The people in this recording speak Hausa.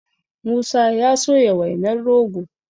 musa ya soya wainar rogo